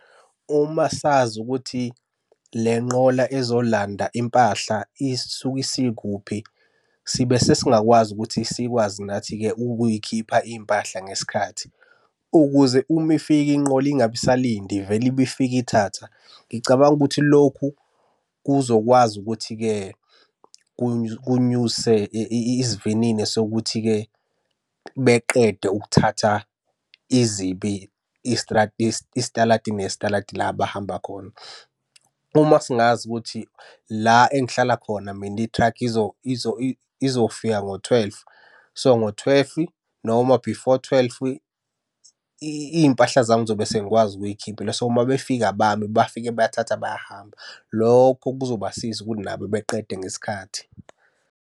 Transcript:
Uma sazi ukuthi le nqola ezolanda impahla isuke isikuphi, sibe sesingakwazi ukuthi sikwazi nathi-ke ukuy'khipha iy'mpahla ngesikhathi, ukuze uma ifika inqola ingabe isalinda ivele ibe ifika ithatha. Ngicabanga ukuthi lokhu kuzokwazi ukuthi-ke kunyuse isivinini sokuthi-ke beqede ukuthatha izibi isitaladi nesitaladi la abahamba khona. Uma singazi ukuthi la engihlala khona mina ithrakhi izofika ngo-twelve. So, ngo-twelve, noma before twelve, iy'mpahla zami ngizobe sengikwazi ukuyikhiphela. So, uma befika abami, bafike bayathatha bayahamba. Lokho kuzobasiza ukuthi nabo beqede ngesikhathi.